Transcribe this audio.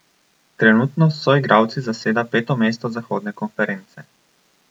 Trenutno s soigralci zaseda peto mesto zahodne konference.